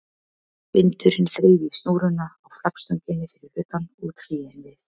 Vindurinn þreif í snúruna á flaggstönginni fyrir utan og trén við